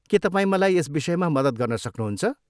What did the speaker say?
के तपाईँ मलाई यस विषयमा मद्दत गर्न सक्नुहुन्छ?